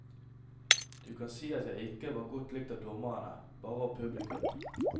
Du kan si at jeg ikke var godt likt av dommerne, bare av publikum.